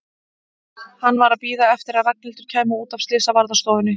Hann var að bíða eftir að Ragnhildur kæmi út af slysavarðstofunni.